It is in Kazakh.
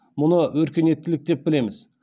мұны өркениеттілік деп білеміз